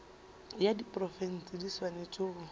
ya diprofense di swanetše go